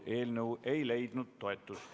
Eelnõu ei leidnud toetust.